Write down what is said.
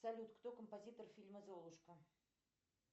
салют кто композитор фильма золушка